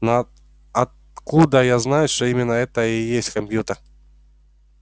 но откуда я знаю что именно это и есть компьютер